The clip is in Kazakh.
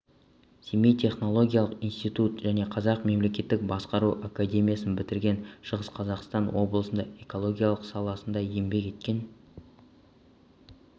семей технологиялық институтын және қазақ мемлекеттік басқару академиясын бітірген шығыс қазақстан облысында экология саласында еңбек еткен